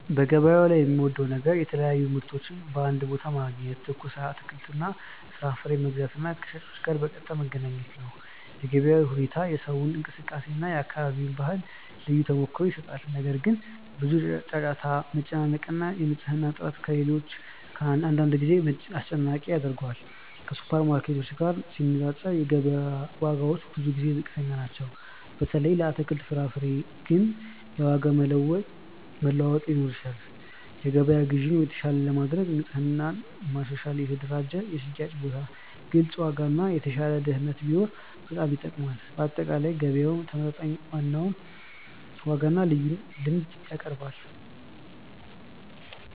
በገበያው ላይ የምወደው ነገር የተለያዩ ምርቶችን በአንድ ቦታ ማግኘት፣ ትኩስ አትክልትና ፍራፍሬ መግዛት እና ከሻጮች ጋር በቀጥታ መገናኘት ነው። የገበያው ሕይወት፣ የሰዎች እንቅስቃሴ እና የአካባቢ ባህል ልዩ ተሞክሮ ይሰጣል። ነገር ግን፣ ብዙ ጫጫታ፣ መጨናነቅ እና የንጽህና እጥረት አንዳንድ ጊዜ አስጨናቂ ያደርገዋል። ከሱፐርማርኬቶች ጋር ሲነፃፀር፣ የገበያ ዋጋዎች ብዙ ጊዜ ዝቅተኛ ናቸው፣ በተለይ ለአትክልትና ፍራፍሬ። ግን የዋጋ መለዋወጥ ሊኖር ይችላል። የገበያ ግዢን የተሻለ ለማድረግ ንጽህና ማሻሻል፣ የተደራጀ የሽያጭ ቦታ፣ ግልጽ ዋጋ እና የተሻለ ደህንነት ቢኖር በጣም ይጠቅማል። በአጠቃላይ፣ ገበያው ተመጣጣኝ ዋጋና ልዩ ልምድ ያቀርባል።